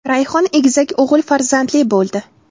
Rayhon egizak o‘g‘il farzandli bo‘ldi.